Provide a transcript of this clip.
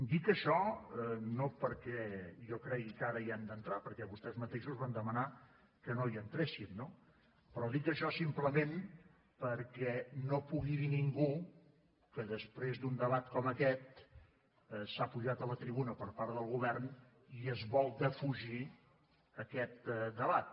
dic això no perquè jo cregui que ara hi hem d’entrar perquè vostès mateixos van demanar que no hi entréssim no però dic això simplement perquè no pugui dir ningú que després d’un debat com aquest s’ha pujat a la tribuna per part del govern i es vol defugir aquest debat